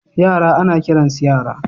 Yara ana kiransu yara.